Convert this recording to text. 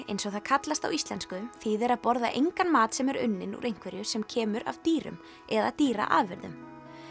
eins og það kallast á íslensku þýðir að borða engan mat sem er unninn úr einhverju sem kemur af dýrum eða dýraafurðum